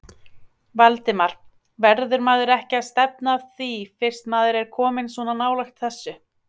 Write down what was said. Valdimar: Verður maður ekki að stefna að því fyrst maður er kominn svona nálægt þessu?